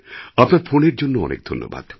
আপনার ফোনের জন্যে ধন্যবাদ